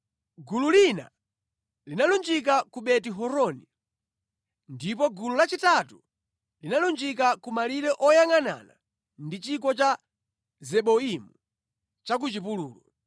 Gulu lina linalunjika ku Beti-Horoni, ndipo gulu lachitatu linalunjika ku malire oyangʼanana ndi chigwa cha Zeboimu cha ku chipululu.